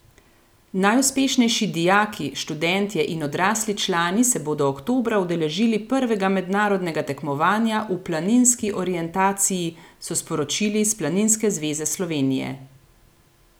Najuspešnejši dijaki, študentje in odrasli člani se bodo oktobra udeležili prvega mednarodnega tekmovanja v planinski orientaciji, so sporočili iz Planinske zveze Slovenije.